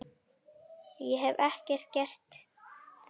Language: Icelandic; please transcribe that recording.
Ég hef ekkert gert þeim.